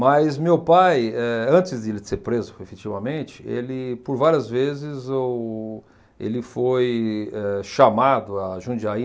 Mas meu pai, eh, antes de ele ser preso, efetivamente, ele, por várias vezes, o ele foi eh chamado a Jundiaí,